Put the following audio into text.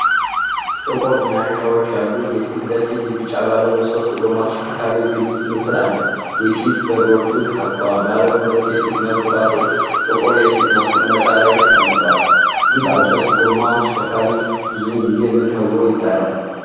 ጥቁር መያዣዎች ያሉት የፊት ለፊት የቢጫ ባለሶስት ጎማ ተሽከርካሪ ግልጽ ምስል አለ። የፊት በሮቹ ተከፍተዋል፤ ባለ ሁለት የፊት መብራቶች ጥቁር የፊት ማስቀመጫ ላይ ተቀምጠዋል። ይህ ባለሶስት ጎማ ተሽከርካሪ ብዙውን ጊዜ ምን ተብሎ ይጠራል?